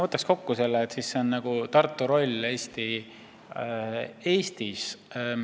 Võtaks selle kokku nii, et mis on Tartu roll Eestis.